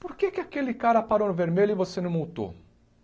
Por que que aquele cara parou no vermelho e você não multou?